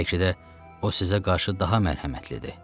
Bəlkə də o sizə qarşı daha mərhəmətlidir.